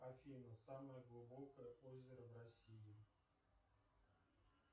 афина самое глубокое озеро в россии